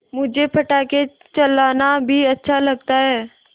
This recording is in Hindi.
मुझे पटाखे चलाना भी अच्छा लगता है